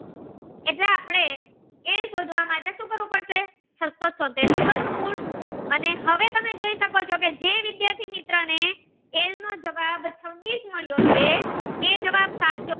શોધવા માટે સુ કરવું પડશે છસો ચોતેર નું વર્ગ મૂળ અને હવે તમે જોઈ શકો ચો જે વિદ્યાર્થી મિત્ર ને એલ નો જવાબ છવ્વીસ મળ્યો છે એ જવાબ સાચો